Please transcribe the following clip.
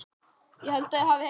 Matti er að koma!